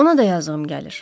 Ona da yazığım gəlir.